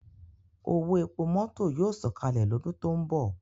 Owo epo mọto yoo sọkalẹ lọdun to nbọ